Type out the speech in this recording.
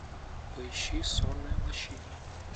поищи сонная лощина